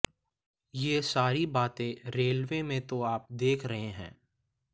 ये सारी बातें रेलवे में तो आप देख रहे हैं